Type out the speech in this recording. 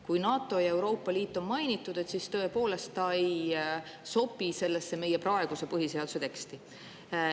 Kui NATO‑t ja Euroopa Liitu on mainitud, siis tõepoolest ei sobi see meie praeguse põhiseaduse teksti.